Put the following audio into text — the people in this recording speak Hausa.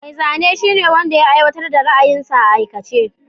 Mai zane shine wanda ya aiwatar da ra'ayinsa a aikace.